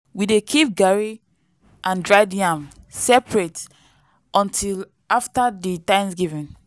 we dey keep garri and dried yam separate until after di thanksgiving.